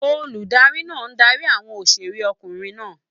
Olùdarí náà darí àwọn òṣèrékùnrin náà.